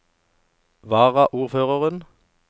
varaordføreren